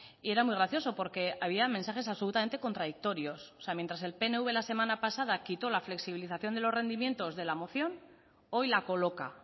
y era muy gracioso porque había mensajes absolutamente contradictorias o sea mientras que el pnv la semana pasada quitó la flexibilización de los rendimientos de la moción hoy la coloca